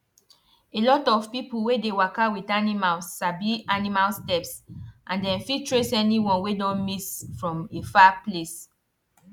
a lot of people wey dey waka with animals sabi animal steps and dem fit trace any one wey don miss from a far place